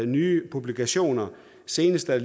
nye publikationer senest er